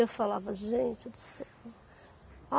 Eu falava, gente do céu.